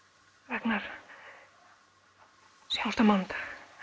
Ragnar sjáumst á mánudag